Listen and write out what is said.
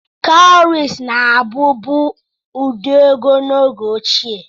Kawuries na-abụbu ụdị ego n'oge ochie.